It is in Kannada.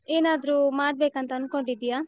ಏನಾದ್ರೂ ಮಾಡಬೇಕಂತ ಅನ್ಕೊಂಡಿದ್ದೀಯಾ?